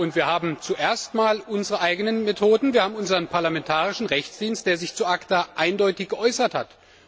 Wir haben zuerst einmal unsere eigenen Methoden, wir haben unseren parlamentarischen Juristischen Dienst, der sich zu ACTA eindeutig geäußert hat.